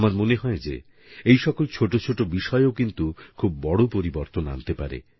আমার মনে হয় যে এই সকল ছোট ছোট বিষয়ও কিন্তু খুব বড় পরিবর্তন আনতে পারে